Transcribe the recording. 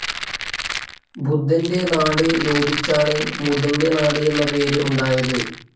ബുദ്ധൻ്റെ നാട് ലോപിച്ചാണ് മുതൻ്റെ നാട് എന്ന പേര് ഉണ്ടായത്.